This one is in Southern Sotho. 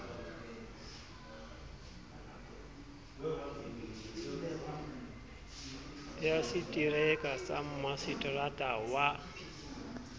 ya setereka sa maseterata wa